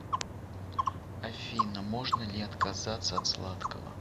афина можно ли отказаться от сладкого